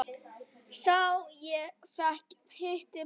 Sá fékk heitið Bangsi.